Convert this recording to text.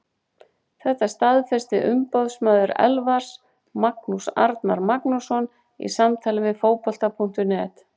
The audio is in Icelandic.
Þetta staðfesti umboðsmaður Elfars, Magnús Agnar Magnússon, í samtali við Fótbolta.net.